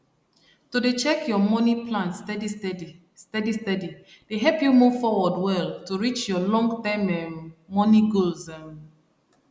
to dey check your money plan steadysteady steadysteady dey help you move forward well to reach your longterm um money goals um